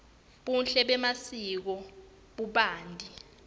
buhle bemasiko bubanti